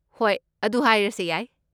ꯍꯣꯏ, ꯑꯗꯨ ꯍꯥꯏꯔꯁꯦ ꯌꯥꯏ꯫